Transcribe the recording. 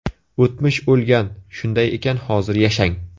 O‘tmish o‘lgan, shunday ekan hozir yashang!